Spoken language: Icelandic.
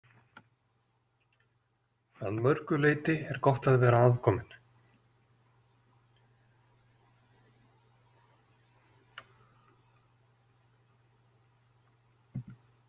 Að mörgu leyti er gott að vera aðkomin.